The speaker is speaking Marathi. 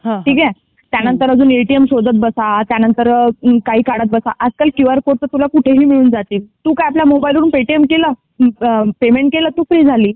ठीक आहे त्यानंतर अजून ये टी एम शोधात बस त्यानंतर काही काढत बस आजकाल क्यु आर कोडे तुला कुठे पण भेटून जातील. तू काय आपल्या मोबाइल वरून पे टी एम केलं आणि तू फ्री झाली.